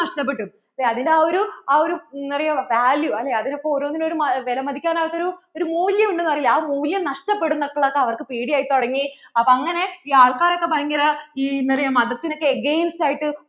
നഷ്ടപ്പെട്ടു അതിനു ആ ഒരു ആ ഒരു അറിയാമോ value അതിനു ഇപ്പൊ ഓരോന്നിനും ഒരു വിലമതിക്കാൻ ആവാത്ത ഒരു മൂല്യം ഉണ്ടെന്നു പറയില്ലേ ആ മൂല്യം നഷ്ടപ്പെടും എന്നൊക്കെ അവർക്ക് പേടി ആയി തുടങ്ങി അപ്പോ അങ്ങനെ ഈ ആൾകാർ ഒക്കെ ഭയങ്കര ഈ എന്താ പറയാ മതത്തിനു ഒക്കെ against ആയിട്ട്